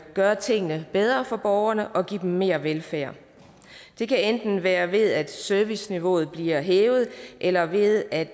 gøre tingene bedre for borgerne og giver dem mere velfærd det kan enten være ved at serviceniveauet bliver hævet eller ved at